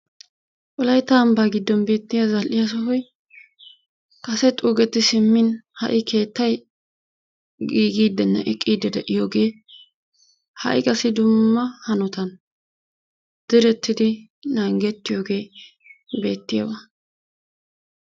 wolaytta ambaa giddon beetiya zal'iya sohoy giigidinne eqqidi de'iyoge ha'i qassi dumma hanotan deretiidi nanggettiyogee beettiyaba.